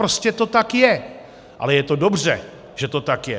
Prostě to tak je, ale je to dobře, že to tak je.